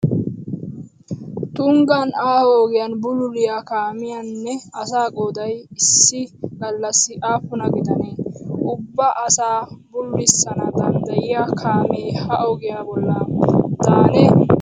Tunggaan aaho ogiyaan bululiyaa kaamiyaa nne asaa qooday issi gallassi aapunaa gidane? Ubba asaa bululissana dandayiyaa kaamee ha ogiyaa bollaan daane?